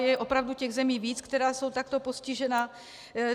Je opravdu těch zemí víc, které jsou takto postižené.